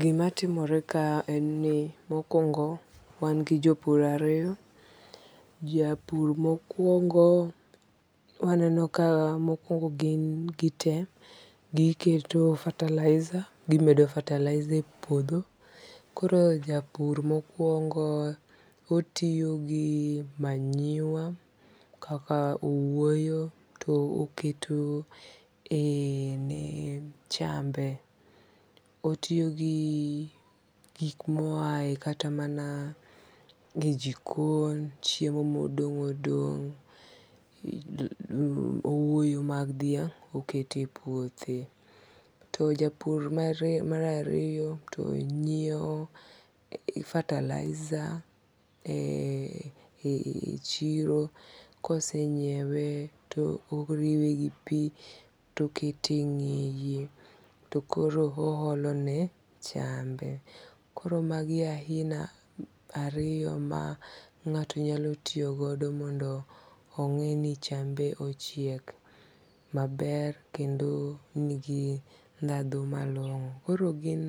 Gimatimore kae en ni mokuongo' wan gi jopur ariyo, japur mokuongo waneno kaa, mokuongo, gi gite giketo fertilizer gimedo fertilizer e puotho, koro japur mokuongo otiyo gi manure okawo owuoyo to oketone chambe, otiyo gi gik moyae kata mana e jikon, chiemo modong' odongo' owuoyo mag dhiang' oketo e puothe, to japur mar ariyo to nyiewo fertilizer e chiro kose nyiewe to oriwe gi pi to okete e nge'ye to koro ohalone chambe koro magie e ahina ariyo ma nga'to nyalo tiyogodo mondo onge'ni chambe achiek maber kendo nigi thatho malongo' koro gin